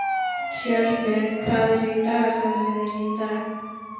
Tjörvi, hvað er í dagatalinu mínu í dag?